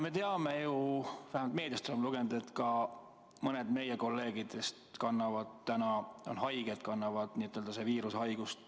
Me teame või vähemalt oleme meediast lugenud, et ka mõned meie kolleegidest on täna haiged, kannavad viirushaigust.